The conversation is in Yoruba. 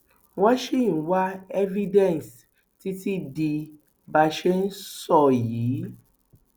wọn ṣì ń wá evidence títí di bá a ṣe ń sọ yìí